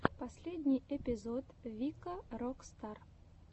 последний эпизод вика рок стар